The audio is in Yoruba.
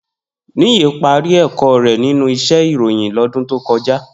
Niyi pàri èkò rè ninú íṣè iróyin lòdún tókòjá